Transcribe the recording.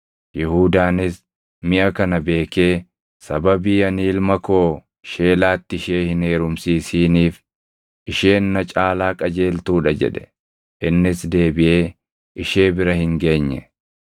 Yihuudaanis miʼa kana beekee, “Sababii ani ilma koo Sheelaatti ishee hin heerumsiisiniif, isheen na caalaa qajeeltuu dha” jedhe. Innis deebiʼee ishee bira hin geenye.